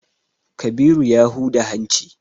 Kabiru ya huda hanci.